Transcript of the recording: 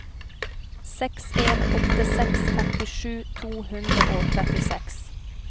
seks en åtte seks femtisju to hundre og trettiseks